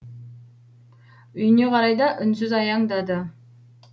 үйіне қарай да үнсіз аяңдады